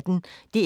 DR P1